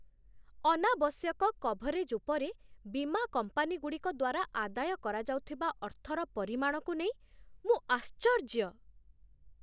ଅନାବଶ୍ୟକ କଭରେଜ୍ ଉପରେ ବୀମା କମ୍ପାନୀଗୁଡ଼ିକ ଦ୍ୱାରା ଆଦାୟ କରାଯାଉଥିବା ଅର୍ଥର ପରିମାଣକୁ ନେଇ ମୁଁ ଆଶ୍ଚର୍ଯ୍ୟ।